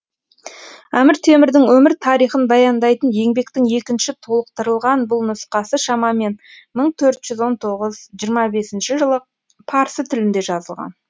әмір темірдің өмір тарихын баяндайтын еңбектің екінші толықтырылған бұл нұсқасы шамамен мың төрт жүз он тоғыз жиырма бесінші жылы парсы тілінде жазылған